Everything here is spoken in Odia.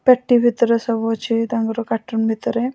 ପେଟି ଭିତରେ ସବୁ ଅଛି ତାଙ୍କର କାର୍ଟୁନ ଭିତରେ ।